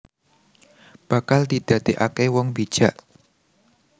Bakal didakekake wong bijak